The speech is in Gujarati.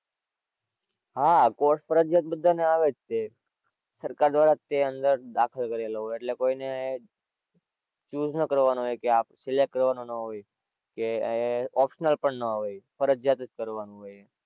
હાં course ફરજિયાત બધા ને આવે જ છે. સરકાર તરફ થી અંદર દાખલ કરેલો હોય એટલે કોઈ ને choose ન કરવાનું હોય કે આ select કરવાનું ન હોય કે optional પણ ન હોય. ફરજિયાત જ કરવાનું હોય.